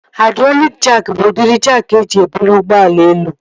Haidrọlịk jaakị bụ udịri jaakị eji ebuli ụgbọala elu